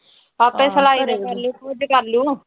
ਆਪੇ ਸਿਲਾਈ ਦਾ ਕਰਲੂ ਕਰਲੂ।